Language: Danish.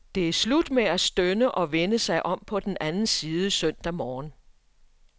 Det er slut med at stønne og vende sig om på den anden side søndag morgen.